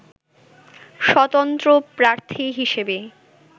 স্বতন্ত্র প্রার্থী হিসেবেই